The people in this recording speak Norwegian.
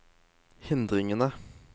hindringene